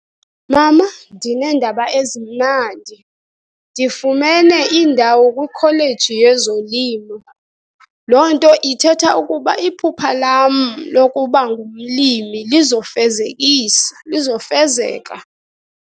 Mama, ndineendaba ezimnandi. Ndifumene indawo kwikholeji yezolimo. Loo nto ithetha ukuba iphupha lam lokuba ngumlimi lizofezekisa, lizofezeka.